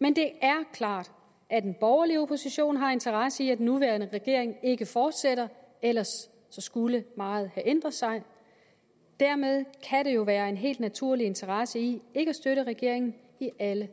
men det er klart at den borgerlige opposition har interesse i at den nuværende regering ikke fortsætter ellers skulle meget have ændret sig dermed kan der jo være en helt naturlig interesse i ikke at støtte regeringen i alle